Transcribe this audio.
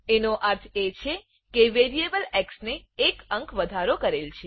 એનો અર્થ એ છે કે વેરીએબલ એક્સ ને એક અંક વધારો કરેલ છે